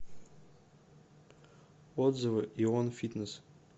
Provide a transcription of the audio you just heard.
отзывы ион фитнес